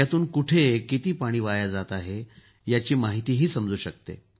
यातून कुठे किती पाणी वाया जात आहे याचीही माहिती समजू शकते